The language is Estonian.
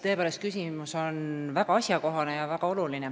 Tõepoolest, küsimus on väga asjakohane ja väga oluline.